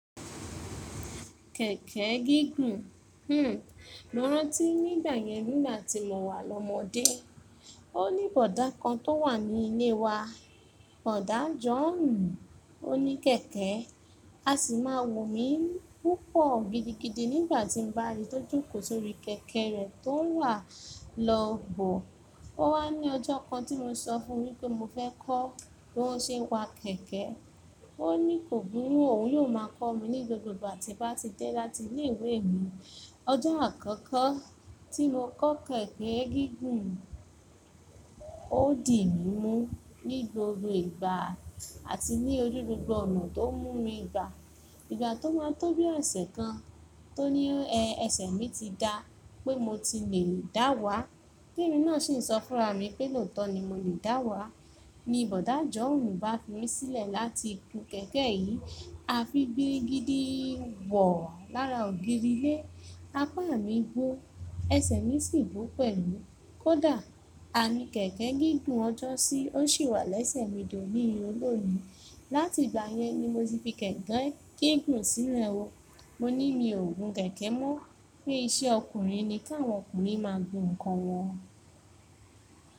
Kẹ̀kẹ́ gígùn, hmm mọ́rán tí nígbà yẹn nígbà tí mo wà lọ́mọdé, ó ní bọ̀dá kan tó wà ní ilé wa, Bọ̀dá John, ó ní kẹ̀kẹ́, a sì máa wò mí púpọ̀ gidigidi nígbà tí n bá ríi tó jókòó sórí kẹ̀kẹ́ rẹ̀ tó ń wà lọ́ bò. Ó wá ní ọjọ́ kan tí mo sọ fún wí pé mo fẹ́ kọ́ bó ń ṣe ń wa kẹ̀kẹ́, ó ní kò burú, òun yóò máa kọ́ mi ní gbogbo àti bá ti dé láti ilé ìwé mi. Ọjọ́ àkọ́kọ́ tí mo kọ́ kẹ̀kẹ́ gígùn, ó dì mí mú ní gboro ìgbà àti ní orí gbogbo ọ̀nà tó mú mi ìgbà. Ìgbà tó máa tó bí ọ̀sẹ̀ kan, tó ní ẹ ẹsẹ̀ mi ti da pé mo ti lè dá wà, bímọ náà sì ń sọ fúnra mi pé lóòótọ́ ni mo lè dá wà. Ni Bọ̀dá John bá fi mí sílẹ̀ láti gun kẹ̀kẹ́ yìí, a fi gbìrìgìdì bò ó lára ògiri ilé. A pa àmì bó, ẹsẹ̀ mi sì bó pẹ̀lú. Kódà, amí kẹ̀kẹ́ gígùn ọjọ́ sí, ó sì wà lẹ́sẹ̀ mi tó ní ò lónìí. Láti ìgbà yẹn ni mo ti fi kẹ̀kẹ́ gigun sílẹ̀ o. Mo ní mi ò gun kẹ̀kẹ́ mọ́, pé iṣẹ́ ọkùnrin ni kí àwọn ọkùnrin máa gun nǹkan wọn.